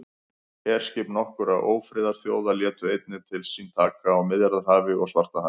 herskip nokkurra ófriðarþjóða létu einnig til sín taka á miðjarðarhafi og svartahafi